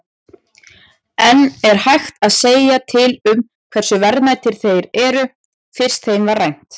En er hægt að segja til um hversu verðmætir þeir eru, fyrst þeim var rænt?